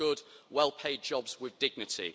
We want good, well paid jobs with dignity.